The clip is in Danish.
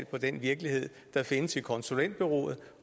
på den virkelighed der findes i konsulentbureauet